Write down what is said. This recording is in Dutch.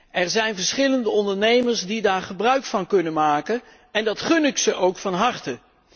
Er zijn verschillende ondernemers die daar gebruik van kunnen maken en dat gun ik ze ook van harte.